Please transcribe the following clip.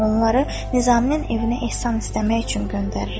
Onları Nizaminin evinə ehsan istəmək üçün göndərirəm.